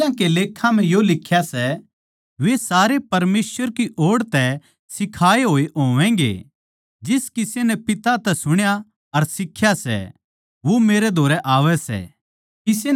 नबियाँ के लेखां म्ह यो लिख्या सै वे सारे परमेसवर की ओड़ तै सिखाए होए होवैगें जिस किसे नै पिता तै सुण्या अर सिख्या सै वो मेरै धोरै आवै सै